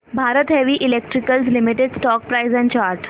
Bharat heavy electricals limited stock price and chart